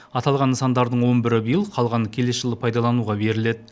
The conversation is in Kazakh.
аталған нысандардың он бірі биыл қалғаны келесі жылы пайдалануға беріледі